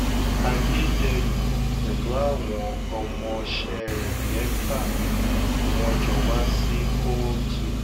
adédèyìn pẹ̀lú àwọn ọmọọṣẹ́ rẹ̀ mẹ́fà ni wọ́n jọ wá sí kóòtù